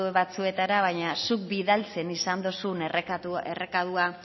batzuetara baina zuk bidaltzen izan dozun errekadua